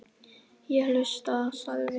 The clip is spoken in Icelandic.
Ég hlusta, sagði Viktoría.